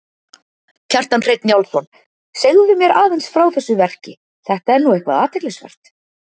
Kjartan Hreinn Njálsson: Segðu mér aðeins frá þessu verki, þetta er nú eitthvað athyglisvert?